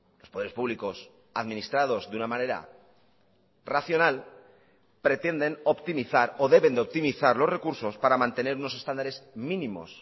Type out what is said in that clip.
los poderes públicos administrados de una manera racional pretenden optimizar o deben de optimizar los recursos para mantener unos estándares mínimos